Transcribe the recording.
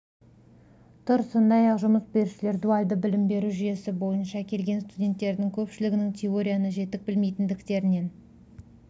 тұр сондай-ақ жұмыс берушілер дуальды білім беру жүйесі бойынша келген студенттердің көпшілігінің теорияны жетік білмейтіндіктерін